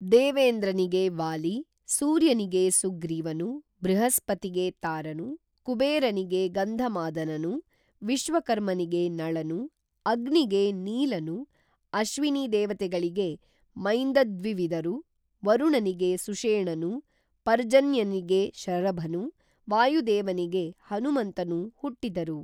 ದೇವೇಂದ್ರನಿಗೆ ವಾಲಿ ಸೂರ್ಯನಿಗೆ ಸುಗ್ರೀವನು ಬೃಹಸ್ಪತಿಗೆ ತಾರನು ಕುಬೇರನಿಗೆ ಗಂಧಮಾದನನು ವಿಶ್ವಕರ್ಮನಿಗೆ ನಳನು ಅಗ್ನಿಗೆ ನೀಲನು ಅಶ್ವಿನೀದೇವತೆಗಳಿಗೆ ಮೈಂದದ್ವಿವಿದರು ವರುಣನಿಗೆ ಸುಷೇಣನು ಪರ್ಜನ್ಯನಿಗೆ ಶರಭನು ವಾಯುದೇವನಿಗೆ ಹನುಮಂತನೂ ಹುಟ್ಟಿದರು